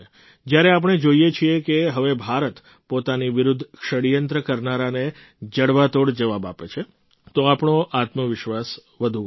જ્યારે આપણે જોઈએ છીએ કે હવે ભારત પોતાની વિરુદ્ધ ષડયંત્ર કરનારાને જડબાતોડ જવાબ આપે છે તો આપણો આત્મવિશ્વાસ વધુ વધે છે